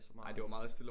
Ej det var meget stille og